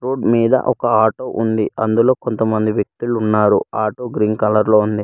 Road మీద ఒక auto ఉంది అందులో కొంతమంది వ్యక్తులు ఉన్నారు ఆటో గ్రీన్ కలర్ లో ఉంది.